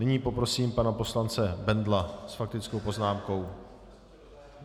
Nyní poprosím pana poslance Bendla s faktickou poznámkou.